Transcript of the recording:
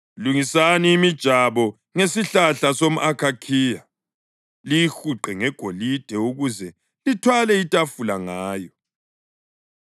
Lungisani imijabo ngesihlahla somʼakhakhiya, liyihuqe ngegolide ukuze lithwale itafula ngayo.